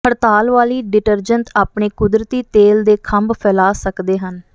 ਹੜਤਾਲ ਵਾਲੀ ਡਿਟਰਜੈਂਟ ਆਪਣੇ ਕੁਦਰਤੀ ਤੇਲ ਦੇ ਖੰਭ ਫੈਲਾ ਸਕਦੇ ਹਨ